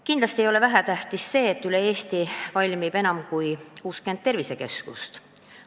Kindlasti ei ole vähetähtis see, et üle Eesti valmib enam kui 60 tervisekeskust.